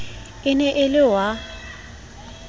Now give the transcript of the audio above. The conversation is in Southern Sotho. e ne e le wa